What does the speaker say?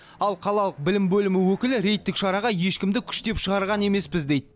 ал қалалық білім бөлімі өкілі рейдтік шараға ешкімді күштеп шығарған емеспіз дейді